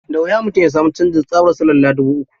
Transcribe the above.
Da wuya mutum ya sami canjin tsabar silalla dubu uku.